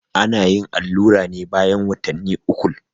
ana yin allura ne bayan watanni ukul